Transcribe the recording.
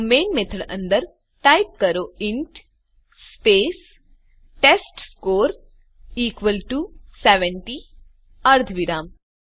તો main method અંદર type કરો int space test score equal to 70 અર્ધવિરામ